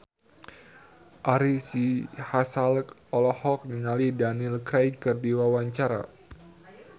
Ari Sihasale olohok ningali Daniel Craig keur diwawancara